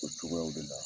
O cogoyaw de la